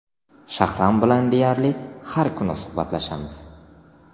Shahram bilan deyarli har kuni suhbatlashamiz.